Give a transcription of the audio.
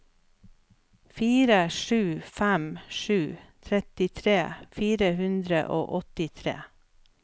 fire sju fem sju trettitre fire hundre og åttitre